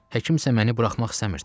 Həkim isə məni buraxmaq istəmirdi.